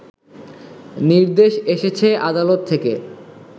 নির্দেশ এসেছে আদালত থেকে